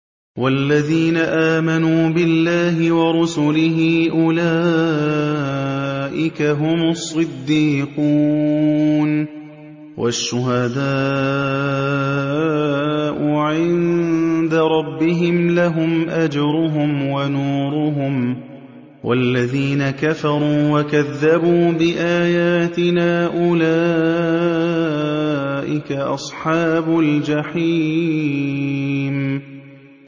وَالَّذِينَ آمَنُوا بِاللَّهِ وَرُسُلِهِ أُولَٰئِكَ هُمُ الصِّدِّيقُونَ ۖ وَالشُّهَدَاءُ عِندَ رَبِّهِمْ لَهُمْ أَجْرُهُمْ وَنُورُهُمْ ۖ وَالَّذِينَ كَفَرُوا وَكَذَّبُوا بِآيَاتِنَا أُولَٰئِكَ أَصْحَابُ الْجَحِيمِ